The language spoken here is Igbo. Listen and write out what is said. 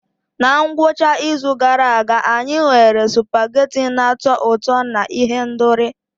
Na ngwụcha izu gara aga, anyị nwere spaghetti na-atọ ụtọ na ihendori.